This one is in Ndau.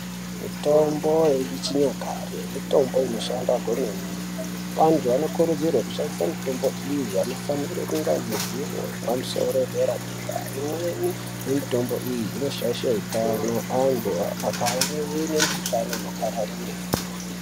Mitombo yechinyakare mitombo inoshanda kwemene antu anokurudzirwa kushandisa mitombo iyi anofanira kunge ane ruzivo wepamusoro wedera dera. Imweni yemitombo iyi inoshaisha hutano antu akave nemikuhlani inopararira.